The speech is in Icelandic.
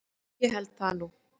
Jú ég held það nú.